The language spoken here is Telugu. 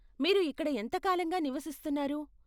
మీరు ఇక్కడ ఎంత కాలంగా నివసిస్తున్నారు?